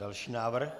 Další návrh.